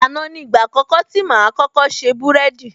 Àná ni ìgbà àkọ́kọ́ tí máa kọ́kọ́ ṣe búrẹ́dì